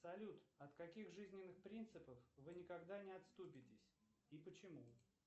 салют от каких жизненных принципов вы никогда не отступитесь и почему